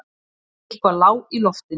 Eitthvað lá í loftinu.